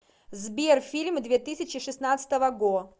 сбер фильмы две тысячи шестнадцатого го